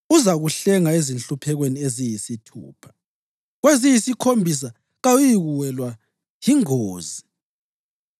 Uzakuhlenga ezinhluphekweni eziyisithupha; kweziyisikhombisa kawuyikuwelwa yingozi.